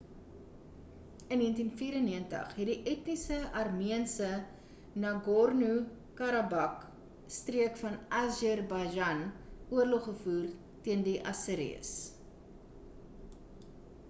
in 1994 het die etniese armeense nagorno-karabakh streek van azerbaijan oorlog gevoer teen die aseris